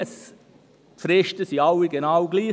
Die Fristen sind alle genau gleich.